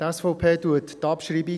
Die SVP bestreitet die Abschreibung.